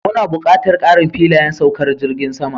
Muna buƙatar ƙarin filayen saukar jirgin sama